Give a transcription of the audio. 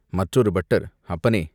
மற்றொரு பட்டர் "அப்பனே!